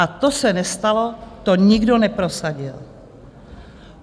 A to se nestalo, to nikdo neprosadil.